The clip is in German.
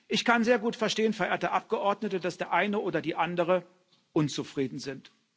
Ich kann sehr gut verstehen, verehrte Abgeordnete, dass der eine oder die andere unzufrieden sind.